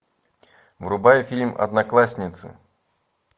врубай фильм одноклассницы